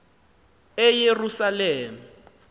eyerusalem